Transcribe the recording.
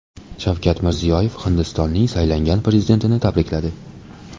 Shavkat Mirziyoyev Hindistonning saylangan prezidentini tabrikladi.